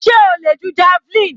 Sé o le ju javelin?